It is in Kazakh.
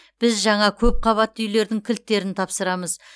біз жаңа көпқабатты үйлердің кілттерін тапсырамыз